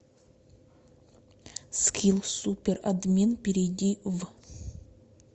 скилл суперадмин перейди в